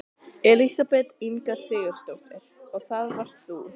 Elísabet Inga Sigurðardóttir: Og það varst þú?